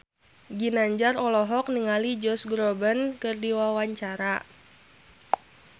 Ginanjar olohok ningali Josh Groban keur diwawancara